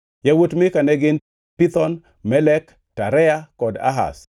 Yawuot Mika ne gin: Pithon, Melek, Tarea kod Ahaz.